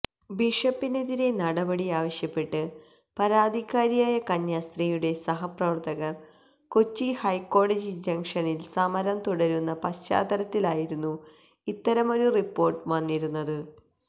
ബിഷപ്പിനെതിരെ നടപടിയാവശ്യപ്പെട്ട് പരാതിക്കാരിയായ കന്യാസ്ത്രീയുടെ സഹപ്രവര്ത്തകര് കൊച്ചി ഹൈക്കോടതി ജങ്ഷനില് സമരം തുടരുന്ന പശ്ചാത്തലത്തിലായിരുന്നു ഇത്തരമൊരു റിപ്പോര്ട്ട് വന്നിരുന്നത്